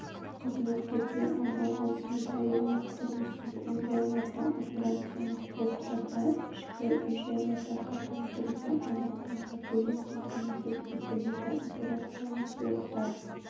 қызметкерге арналған санитариялық-тұрмыстық үй-жайларда операциялық блоктарда ішкі үй-жайларды қатаң түрде аймақтарға бөлу қамтамасыз етіледі операциялық блоктар